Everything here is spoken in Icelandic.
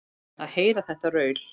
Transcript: Að heyra þetta raul.